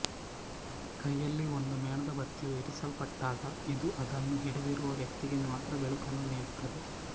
ಕೈಯಲ್ಲಿ ಒಂದು ಮೇಣದಬತ್ತಿಯು ಇರಿಸಲ್ಪಟ್ಟಾಗ ಇದು ಅದನ್ನು ಹಿಡಿದಿರುವ ವ್ಯಕ್ತಿಗೆ ಮಾತ್ರ ಬೆಳಕನ್ನು ನೀಡುತ್ತದೆ